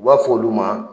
U b'a fɔ olu ma